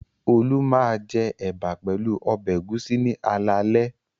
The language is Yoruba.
Olú máa jẹ ẹ̀bà pẹ̀lú ọbẹ̀ ẹ̀gúsí ní alaalẹ́.